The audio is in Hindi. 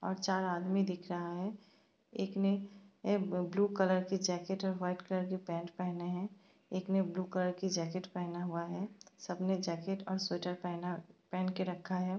और चार आदमी दिख रहा है। एक ने एब ब्लू कलर के जैकेट और व्हाइट कलर के पैंट पहने हैं। एक ने ब्लू कलर की जैकेट पहना हुआ है सबने जैकेट और स्वेटर पहना पहन के रखा है।